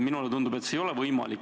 Minule tundub, et see ei ole võimalik.